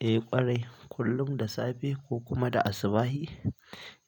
Eh ƙwarai, kullum da safe ko kuma da asubahi